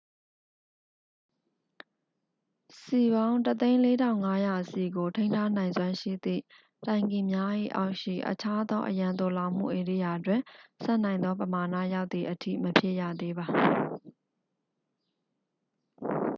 စည်ပေါင်း 104,500 စည်ကို ထိန်းထားနိုင်စွမ်းရှိသည့်တိုင်ကီများ၏အောက်ရှိ အခြားသော အရန်သိုလှောင်မှုဧရိယာတွင် ဆံ့နိုင်သောပမာဏရောက်သည်အထိ မဖြည့်ရသေးပါ